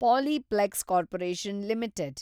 Polyplex Corporation limited